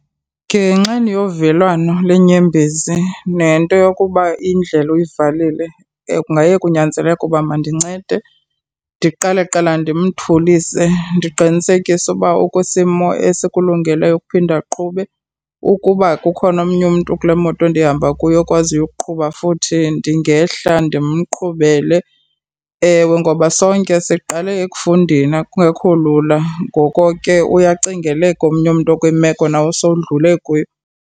Ngenxeni yovelwano lenyembezi nento yokuba indlela uyivalile kungaye kunyanzeleke uba mandincede ndiqale kuqala ndimthulise ndiqinisekise uba ukwisimo esikulungeleyo ukuphinda aqhube. Ukuba kukhona omnye umntu kule moto ndihamba kuyo okwaziyo ukuqhuba futhi ndingehla ndimqhubele. Ewe, ngoba sonke siqale ukufundeni kungekho lula. Ngoko ke uyacingeleka omnye umntu okwimeko nawo osowudlule kuyo.